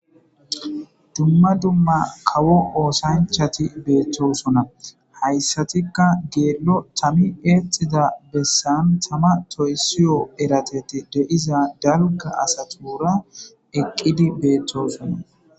Dumma dumma kawo oosanchati beetosona. Hayssatikka geelo tami eexida besan tama toyssiyo eratethi diza dalgga asatuura eqqidi beetosona.